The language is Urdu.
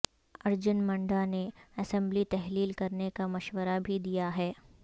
ارجن منڈا نے اسمبلی تحلیل کرنے کا مشورہ بھی دیا ہے